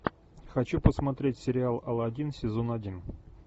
хочу посмотреть сериал алладин сезон один